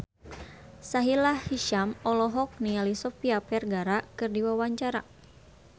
Sahila Hisyam olohok ningali Sofia Vergara keur diwawancara